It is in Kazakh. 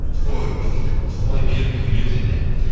ойбай ой берік үйлен сен де